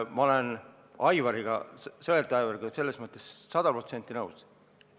Ma olen Aivariga selles mõttes sada protsenti nõus.